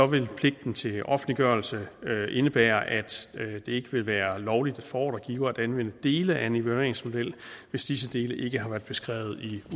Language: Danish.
vil pligten til offentliggørelse indebære at det ikke vil være lovligt for ordregiver at anvende dele af en evalueringsmodel hvis disse dele ikke har været beskrevet i